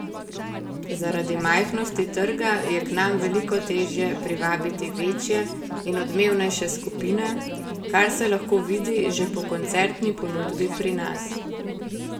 Zaradi majhnosti trga je k nam veliko težje privabiti večje in odmevnejše skupine, kar se lahko vidi že po koncertni ponudbi pri nas.